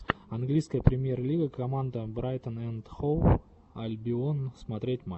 английская премьер лига команда брайтон энд хоув альбион смотреть матч